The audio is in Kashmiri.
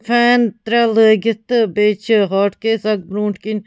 فین ترٛےٚلٲگِتھ تہٕ بیٚیہِ چھ ہاٹ کیس .اکھ بروٗنٛٹھۍکِنۍ